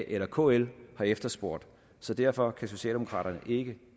eller kl har efterspurgt så derfor kan socialdemokraterne ikke